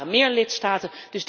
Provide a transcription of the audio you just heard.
Maar er waren meer lidstaten.